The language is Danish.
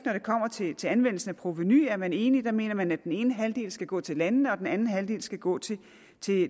kommer til til anvendelsen af provenu er man enig for der mener man at den ene halvdel skal gå til landene og den anden halvdel skal gå til